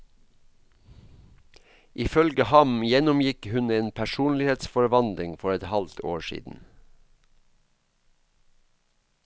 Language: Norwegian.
Ifølge ham gjennomgikk hun en personlighetsforvandling for et halvt år siden.